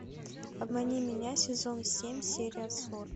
обмани меня сезон семь серия сорок